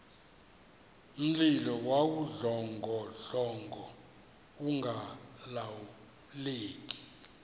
mlilo wawudlongodlongo ungalawuleki